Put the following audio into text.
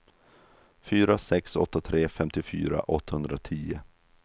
fyra sex åtta tre femtiofyra åttahundratio